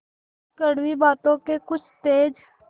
कड़वी बातों के कुछ तेज